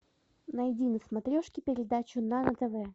найди на смотрешке передачу нано тв